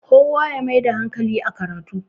kowa ya Maida hankali a karatu